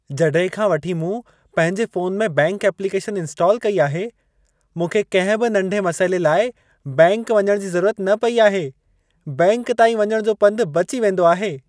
जॾहिं खां वठी मूं पंहिंजे फ़ोन में बैंकि एप्लीकेशन इंस्टाल कई आहे, मूंखे कंहिं बि नंढे मसइले लाइ बैंकि वञण जी ज़रूरत न पई आहे। बैंकि ताईं वञण जो पंध बची वेंदो आहे।